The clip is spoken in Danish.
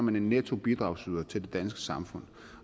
man en nettobidragsyder til det danske samfund